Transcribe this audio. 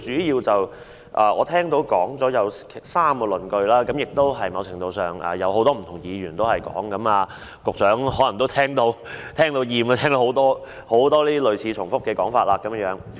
依我聽到，他主要提出了3個論據，而這些論據在某程度上已有多位議員提出，局長也可能聽厭了這些類似及重複的說法。